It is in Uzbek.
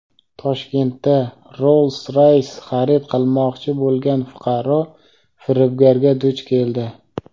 Toshkentda "Rolls-Roys" xarid qilmoqchi bo‘lgan fuqaro firibgarga duch keldi.